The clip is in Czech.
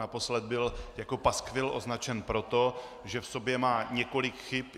Naposled byl jako paskvil označen proto, že v sobě má několik chyb.